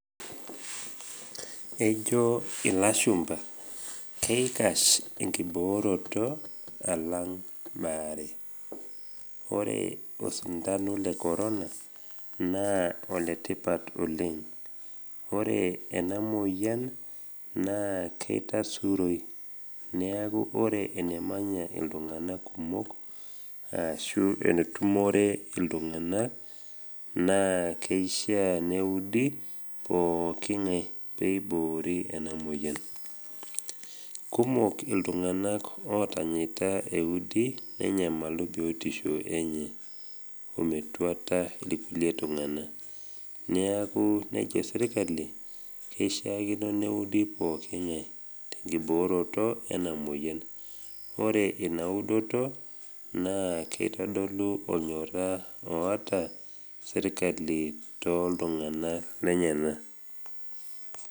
Ejo ilashumba, keikask enkiboorota alang bare. Ore osindano le korona naa oletipat oleng. Ore ena moyian naa keitasuroi, neaku ore enemanya iltung’ana kumok ashu enetumore iltung’ana naa keishaa neudi pooki ng’ai peiboorie ena moyian. Kumok iltung’ana otanyaita eudi nenyamalu biotisho enye ometuata ilkulie tung’ana. Neaku, nejo serkali keishaakino neudi pooki ng’ai tenkibooroto ena moyian. Ore inaudoto, naa keitodolu olnyorra oata serkali toltung’ana lenyena.